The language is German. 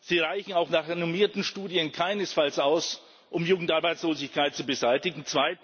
Sie reichen auch nach renommierten Studien keinesfalls aus, um Jugendarbeitslosigkeit zu beseitigen.